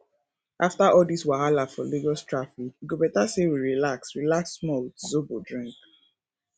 after all dis wahala for lagos traffic e go better sey we relax relax small with zobo drink